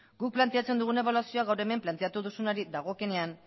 guk planteatzen dugun ebaluazioa gaur hemen planteatu duzunari dagokienean